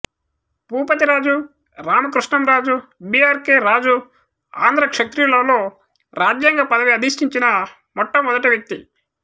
Bhupathiraju Ramakrishnamraju B R K Raju Andhra క్షత్రియులలో రాజ్యాంగ పదవి అధిష్టించిన మొట్టమొదటి వ్యక్తి